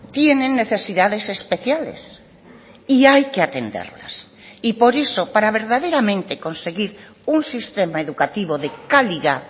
tienen necesidades especiales y hay que atenderlas y por eso para verdaderamente conseguir un sistema educativo de calidad